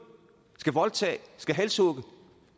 vil voldtage vil halshugge